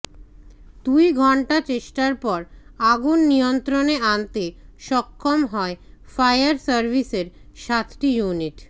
দুইঘণ্টা চেষ্টার পর আগুন নিয়ন্ত্রণে আনতে সক্ষম হয় ফায়ার সার্ভিসের সাতটি ইউনিট